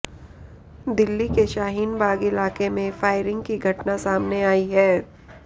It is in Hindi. दिल्ली के शाहीन बाग इलाके में फायरिंग की घटना सामने आई है